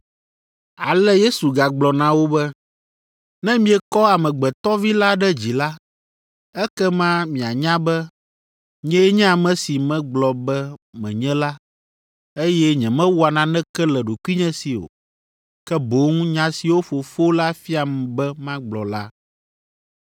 Ale Yesu gagblɔ na wo be, “Ne miekɔ Amegbetɔ Vi la ɖe dzi la, ekema mianya be, nyee nye ame si megblɔ be menye la, eye nyemewɔa naneke le ɖokuinye si o, ke boŋ nya siwo Fofo la fiam be magblɔ la.